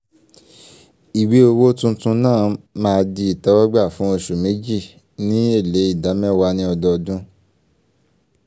ìwé owó tunutun náà ma di ìtẹ́wọ́gbà fún oṣù méjì ní èlé idà mẹ́wàá ní ọdọọdún